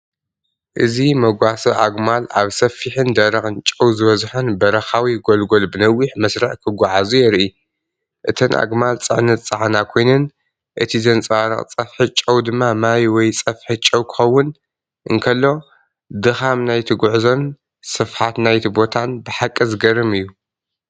እዚ መጓሰ ኣግማል ኣብ ሰፊሕን ደረቕን ጨው ዝበዝሖን በረኻዊ ጐልጐል ብነዊሕ መስርዕ ክጓዓዙ የርኢ። እተን ኣግማል ጽዕነት ዝጸዓና ኮይነን፡እቲ ዘንጸባርቕ ጸፍሒ ጨው ድማ ማይ ወይ ጸፍሒ ጨው ክኸውን እንከሎ። ድኻም ናይቲ ጉዕዞን ስፍሓትናይቲ ቦታን ብሓቂ ዘገርም እዩ።